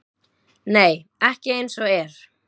Nei, ekki eins og er.